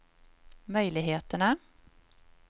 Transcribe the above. möjligheterna